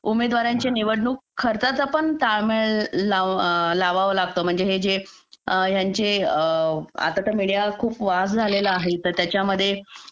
उमेदवाराच्या खर्चाचा ताळमेळ पण लावावा लागतो म्हणजे हे यांचे आता तर मीडिया खूप फास्ट झालेला आहे त्याच्यामध्ये